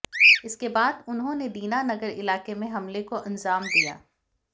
इसके बाद उन्होंने दीना नगर इलाके में हमले को अंजाम दिया